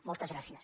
moltes gràcies